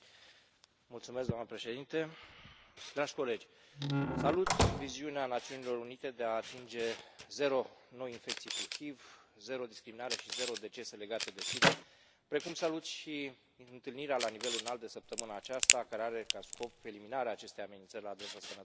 Doamnă președintă, dragi colegi, salut viziunea Națiunilor Unite de a atinge zero noi infecții cu HIV, zero discriminare și zero decese legate de SIDA, precum salut și întâlnirea la nivel înalt de săptămâna aceasta care are ca scop eliminarea acestei amenințări la adresa sănătății publice.